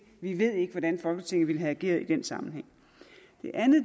vi ved ikke hvordan folketinget ville have ageret i den sammenhæng